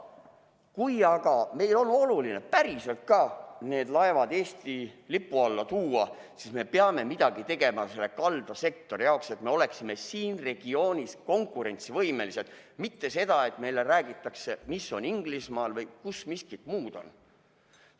Kui aga meile on oluline ka päriselt laevad Eesti lipu alla tuua, siis me peame midagi tegema kaldasektori jaoks, et me oleksime siin regioonis konkurentsivõimelised, mitte see, et meile räägitakse, mis on Inglismaal või kus miskit muud on.